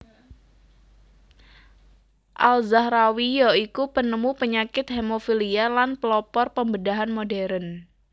Al Zahrawi ya iku penemu penyakit hemofhilia lan pelopor pembedahan modern